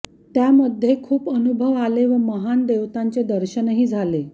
त्यामध्ये खूप अनुभव आले व महान देवतांचे दर्शनही झाले